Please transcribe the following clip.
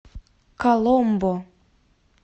коломбо